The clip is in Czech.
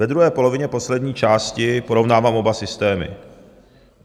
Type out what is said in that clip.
Ve druhé polovině poslední části porovnává oba systémy.